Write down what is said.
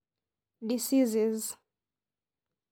Diseases.